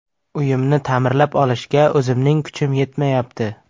Uyimni ta’mirlab olishga o‘zimning kuchim yetmayapti.